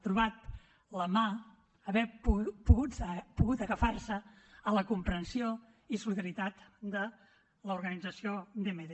trobat la mà haver pogut agafar se a la comprensió i solidaritat de l’organització dmd